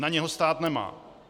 Na něho stát nemá.